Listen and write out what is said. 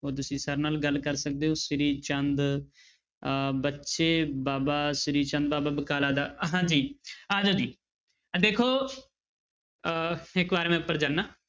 ਉਹ ਤੁਸੀਂ sir ਨਾਲ ਗੱਲ ਕਰ ਸਕਦੇ ਹੋ ਸ੍ਰੀ ਚੰਦ ਅਹ ਬੱਚੇ ਬਾਬਾ ਸ੍ਰੀ ਚੰਦ ਬਾਬਾ ਬਕਾਲਾ ਦਾ ਹਾਂਜੀ ਆ ਜਾਓ ਜੀ ਦੇਖੋ ਅਹ ਇੱਕ ਵਾਰ ਮੈਂ ਉੱਪਰ ਜਾਨਾ।